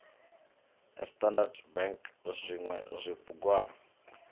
a standard bank zwinwe zwibugwana